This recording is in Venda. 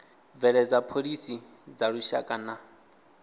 bveledza phoḽisi dza lushaka na